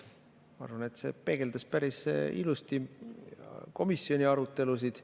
Ma arvan, et see peegeldas päris ilusti komisjoni arutelusid.